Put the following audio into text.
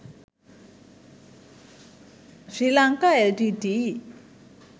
sri lanka l t t e